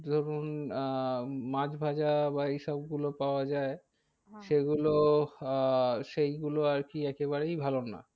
ধরুন আহ মাছ ভাজা বা এই সব গুলো পাওয়া যায়। সে গুলো আহ সেগুলো আর কি একেবারেই ভালো না।